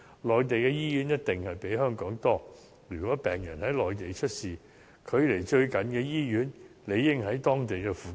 內地的醫院一定比香港多，如果病人在內地出事，距離最就近的醫院應在當地附近。